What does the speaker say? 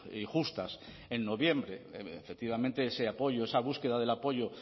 y justas en noviembre efectivamente ese apoyo esa búsqueda del apoyo